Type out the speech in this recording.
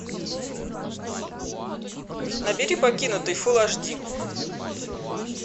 набери покинутый фул аш ди